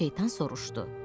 Şeytan soruşdu: